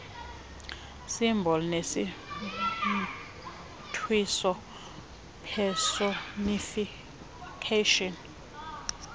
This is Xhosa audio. symbol nesimntwiso personification